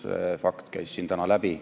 See fakt käis siin täna läbi.